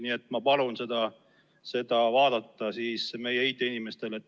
Nii et ma palun selle asja meie IT-inimestel üle vaadata.